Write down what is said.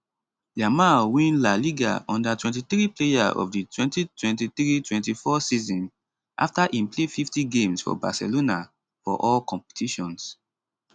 yamal win la liga u23 player of di 202324 season afta im play 50 games for barcelona for all competitions